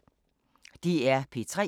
DR P3